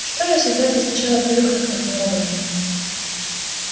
что если дать ей сначала привыкнуть к таким роботам